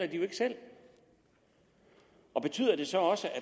de jo ikke selv og betyder det så også at